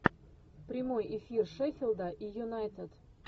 прямой эфир шеффилда и юнайтед